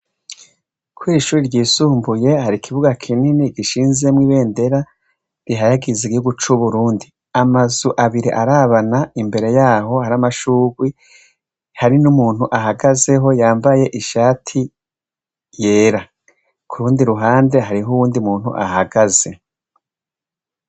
Kw'ishure ryisumbuye hari ikibuga kinini gishinzemwo ibendera rihayagiza igihugu c'uburundi, amazu abiri arabana imbere yaho, hari amashurwe hari n'ukuntu ahagaze yambaye ishati yera ,kurundi ruhande hari uwundi muntu ahagaze.